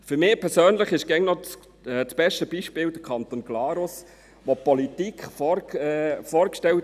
Für mich persönlich ist der Kanton Glarus immer noch das beste Beispiel.